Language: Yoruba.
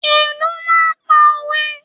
Ìlù máa ń pa òwe.